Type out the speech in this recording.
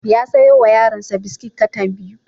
Ya sayo wa yaronsa biskit katan biyu.